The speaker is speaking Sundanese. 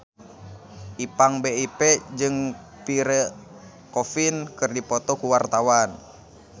Ipank BIP jeung Pierre Coffin keur dipoto ku wartawan